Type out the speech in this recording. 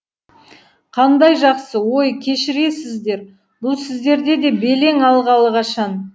қандай жақсы өй кешірерсіздер бұл сіздерде де белең алғалы қашан